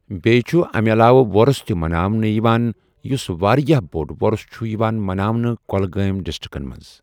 بیٚیہِ چُھ اَمہِ علاوٕ وۄرُث تہِ مناونہٕ یِوان یُس واریاہ بوٚڑ وۄرُث چھُ یِوان مناونہٕ کۄلگامۍ ڈسٹرکن منٛز۔